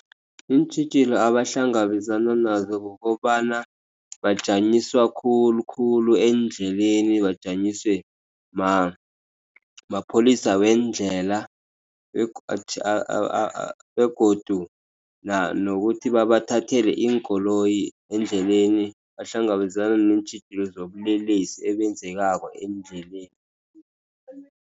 Iintjhijilo abahlangabezana nazo kukobana bajanyiswa khulukhulu eendleleni bajanyiswe mapholisa wendlela, begodu nokuthi babathathela iinkoloyi eendleleni. Bahlangabezana neentjhijilo zobulelesi obenzekako eendleleni.